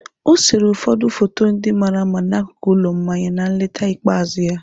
O sere ụfọdụ foto ndị mara mma n'akụkụ ụlọ mmanya na nleta ikpeazụ ya.